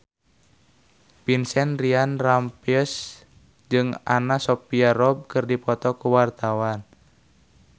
Vincent Ryan Rompies jeung Anna Sophia Robb keur dipoto ku wartawan